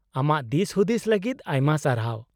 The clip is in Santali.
-ᱟᱢᱟᱜ ᱫᱤᱥᱦᱩᱫᱤᱥ ᱞᱟᱹᱜᱤᱫ ᱟᱭᱢᱟ ᱥᱟᱨᱦᱟᱣ ᱾